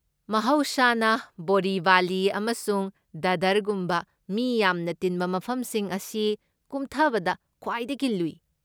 ꯃꯍꯧꯁꯥꯅ, ꯕꯣꯔꯤꯚꯂꯤ ꯑꯃꯁꯨꯡ ꯗꯥꯗꯔꯒꯨꯝꯕ ꯃꯤ ꯌꯥꯝꯅ ꯇꯤꯟꯕ ꯃꯐꯝꯁꯤꯡ ꯑꯁꯤ ꯀꯨꯝꯊꯕꯗ ꯈ꯭ꯋꯥꯏꯗꯒꯤ ꯂꯨꯏ꯫